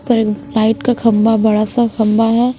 पर लाइट का खंबा बड़ा सा खंबा है।